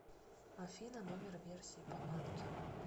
афина номер версии по анки